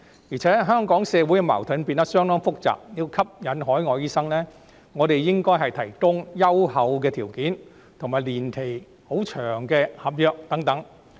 而且，香港社會的矛盾變得相當複雜，要吸引海外醫生，我們應該提供優厚的條件，以及年期十分長的合約等。